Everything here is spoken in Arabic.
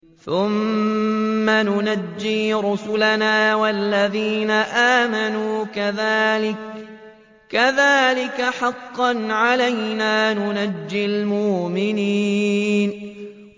ثُمَّ نُنَجِّي رُسُلَنَا وَالَّذِينَ آمَنُوا ۚ كَذَٰلِكَ حَقًّا عَلَيْنَا نُنجِ الْمُؤْمِنِينَ